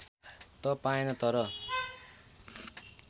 त पाएन तर